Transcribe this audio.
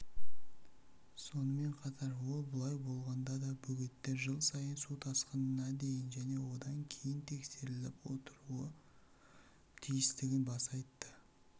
сонымен қатар ол бұлай болғанда да бөгеттер жыл сайын су тасқынына дейін және одан кейін тексеріліп отыруы тиістігін баса айтты